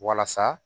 Walasa